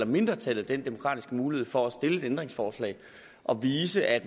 mindretallet den demokratiske mulighed for at stille et ændringsforslag og vise at